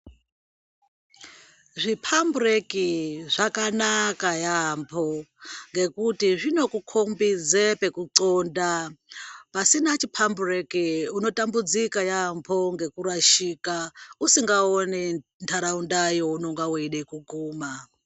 Zviphambureki zvakanaka yaamho ngekuti zvinokhombidze pekuxonda. Pasina chiphambureki, unotambudzika yaamho ngekurashika usikaoni ntaraunda yeunenge weida kuguma.